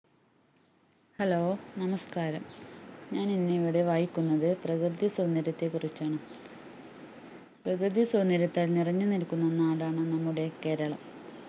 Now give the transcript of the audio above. hello നമസ്‌കാരം ഞാൻ ഇന്ന് ഇവിടെ വായിക്കുന്നത് പ്രകൃതിസൗന്ദര്യത്തെ കുറിച്ചാണ് പ്രകൃതിസൗന്ദര്യത്താൽ നിറഞ്ഞുനിൽക്കുന്ന നാടാണ് നമ്മുടെ കേരളം